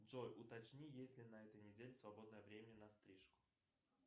джой уточни есть ли на этой неделе свободное время на стрижку